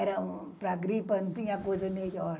Era para gripe, não tinha coisa melhor.